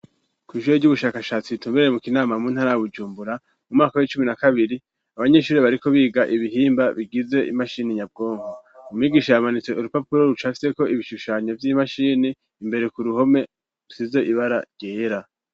Kw'ishure ry'ubushakashatsi ritumbereye mukinama mu ntara bujumbura ,mu mwaka w'icumi na kabiri ,abanyeshuri bariko biga ibihimba bigize imashini nyabwonko, umwigisha yamanitse urupapuro rucafyeko ibishushanyo vy'imashini ,imbere ku ruhome rusize ibara ryera.